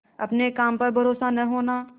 अपने काम पर भरोसा न होना